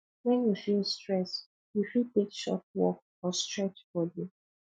when you feel stress you fit take short walk or stretch body